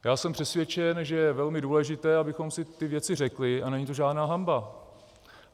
Já jsem přesvědčen, že je velmi důležité, abychom si ty věci řekli, a není to žádná hanba.